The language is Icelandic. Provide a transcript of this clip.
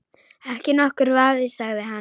Ekki nokkur vafi sagði hann.